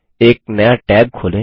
एक नया टैब खोलें